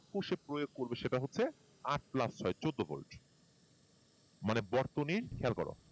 কিসে প্রয়োগ করবে সেটা হচ্ছে আট plus ছয় চোদ্দ ভোল্ট মানে বর্তনীর খেয়াল করো